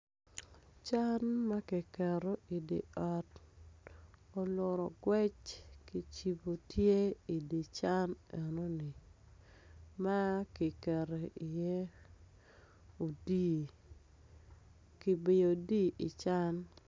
Can ma kiketo idye ot olut ogwec kicibo tye idi can enoni ma kiketo iye odii kibiyo odii i can.